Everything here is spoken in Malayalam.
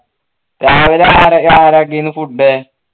food